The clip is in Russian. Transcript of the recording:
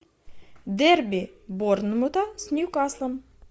дерби борнмута с ньюкаслом